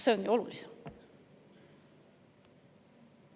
See on ju olulisem!